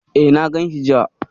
E, na ganshi jiya.